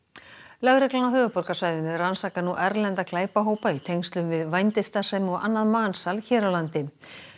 lögreglan á höfuðborgarsvæðinu rannsakar nú erlenda glæpahópa í tengslum við vændisstarfsemi og annað mansal hér á landi